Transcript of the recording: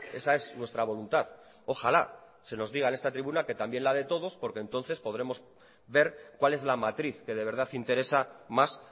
esa es nuestra voluntad ojalá se nos diga en esta tribuna que también la de todos porque entonces podremos ver cuál es la matriz que de verdad interesa más